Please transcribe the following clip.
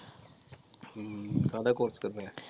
ਠੀਕ ਕਾਹਦਾ course ਕਰਨਾ ਹੈ?